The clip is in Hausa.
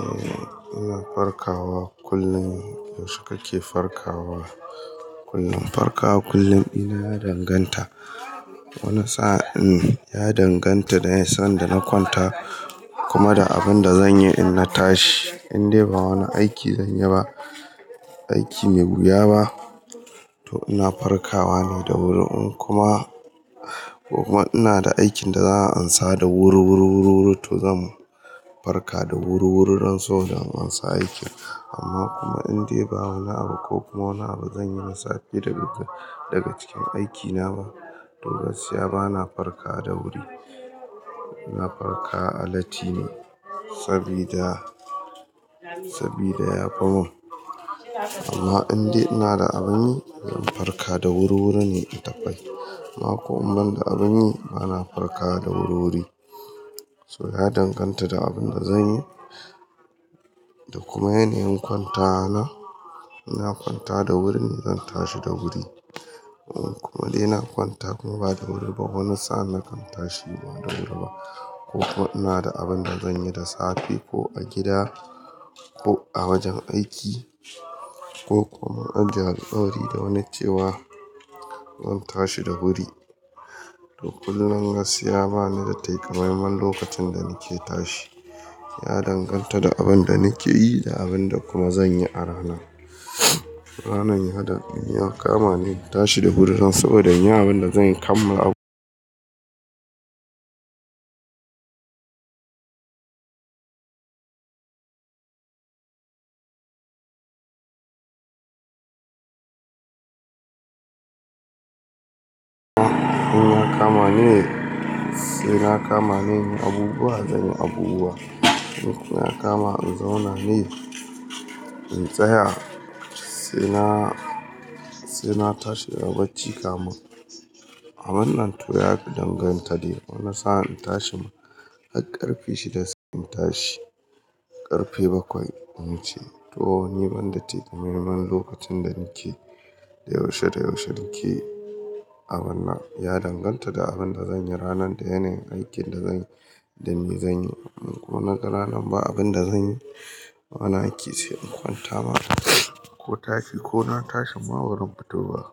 Eh ina farkawa kullum, yaushe kake farkawa? Kullum farkawa kullum ina ya danganta, wani sa'in ya danganta da sanda na kwanta kuma da abinda zanyi in na tashi. In dai ba wani aiki zanyi ba, aiki mai wuya ba to ina farkawa ne da wuri in kuma, ko kuma ina da aikin da za'a ansa da wuri wuri wuri wuri to zan farka da wur wuri dan saboda in amsa aiki. Amma kuma in de ba wani abu ko kuma wani abu zan yi na safe daga cikin aiki na ba, to gaskiya ba na farkawa da wuri ina farkawa latti ne sabida, sabida yafi mun. Amma in dai ina da abun yi ina farkawa da wuri wuri ne in tafi. Amma ko in ban da abinyi ba na farkawa da wur wuri. So ya danganta da abinda zan yi da kuma yanayin kwantawa na ina kwantawa da wuri ne zan tashi da wuri kuma dai ina kwanta kuma ba da wuri ba wani sa'in na kan tashi ba da wuri ba ko ko ina da abun da zanyi da safe ko a gida ko a wajen aiki ko kuma in ajiye alkawari da wani cewa zan tashi da wuri. To kullum gaskiya bani da takamaiman lokacin da nake tashi. Ya danganta da abinda nike yi da abinda kuma zanyi a rana. Ranar ya da kama ne in tashi da wuri don saboda in yi abinda zan kammala abun. In ya kama ne sai ya kama ne zan yi abubuwa, zan yi abubuwa in ya kama in zauna ne in tsaya sai na, sai na tashi daga bacci kamun. A wannan to ya danganta de wani sa'in in tashi har karfe shida sai in tashi. Karfe bakwai in ce to ni banda takamaiman lokacin da nike, da yaushe da yaushe nike abunnan ya danganta da abinda zanyi ranan da yanayin aikin da zanyi, idan ni zanyi ko na ga ranan ba abinda zanyi. Wani aiki sai in kwanta mana ko tashi ko na tashin ma ba ran fito ba.